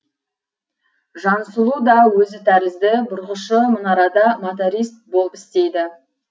жансұлу да өзі тәрізді бұрғышы мұнарада моторист болып істейді